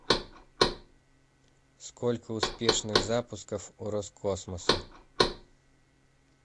сколько успешных запусков у роскосмоса